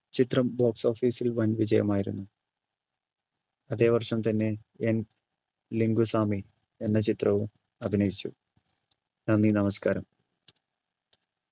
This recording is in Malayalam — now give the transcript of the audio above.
ചിത്രം box office ൽ വൻവിജയമായിരുന്നു അതേ വർഷം തന്നെ എൻ ലിങ്കുസ്വാമി എന്ന ചിത്രവും അഭിനയിച്ചു നന്ദി നമസ്കാരം